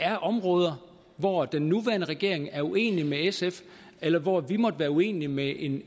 er områder hvor den nuværende regering er uenig med sf eller hvor vi måtte være uenige med en